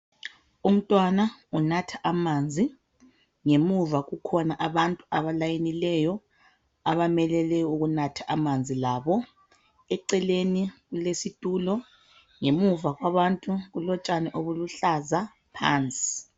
Umntwana unatha amanzi ngemuva kukhona abantu abafolileyo abamele le ukunatha amanzi labo eceleni kulesitulo ngemuva kwabantu kulotshani obuluhlaza phansi.